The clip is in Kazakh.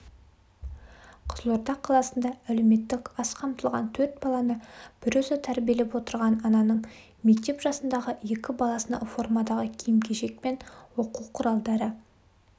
қызылорда қаласында әлеуметтік аз қамтылған төрт баланы бір өзі тәрбиелеп отырған ананың мектеп жасындағы екі баласына формадағы киім-кешек пен оқу құралдары